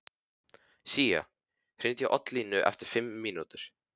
Sía, hringdu í Oddlínu eftir fimm mínútur.